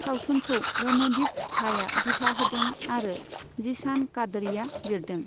सावथुनखौ रणदीप झाया दिथा होदों आरो जिशान कादरिआ लिरदों।